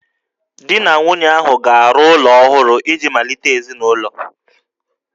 Di na nwunye ahụ ga-arụ ụlọ ọhụrụ iji malite ezinụlọ